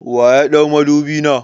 Wa ya ɗau madubi na?